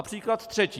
A příklad třetí.